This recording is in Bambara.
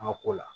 An ka ko la